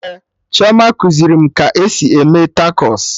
Ee, Chioma kuziri m ka esi eme takos